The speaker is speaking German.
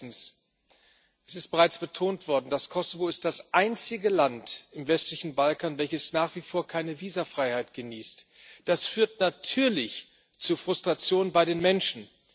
Erstens es ist bereits betont worden Das Kosovo ist das einzige Land im westlichen Balkan, welches nach wie vor keine Visafreiheit genießt. Das führt natürlich zu Frustration bei den Menschen.